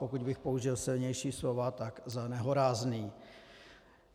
Pokud bych použil silnější slova, tak za nehorázný.